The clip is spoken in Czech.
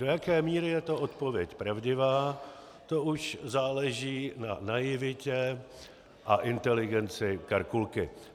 Do jaké míry je to odpověď pravdivá, to už záleží na naivitě a inteligenci Karkulky.